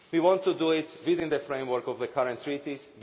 level. We want to do it within the framework of the current treaties